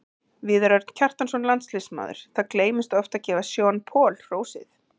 Viðar Örn Kjartansson, landsliðsmaður Það gleymist oft að gefa Sean Paul hrósið.